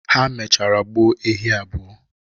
Ha mechara gbuo ehi abụọ.